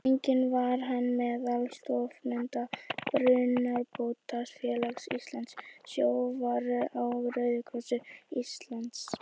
Einnig var hann meðal stofnenda Brunabótafélags Íslands, Sjóvár og Rauða kross Íslands.